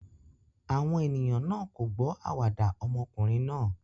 Àwọn ènìyàn náà kò gbọ́ àwàdà ọmọkùnrin náà.